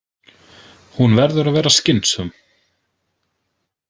Hún verður að vera skynsöm.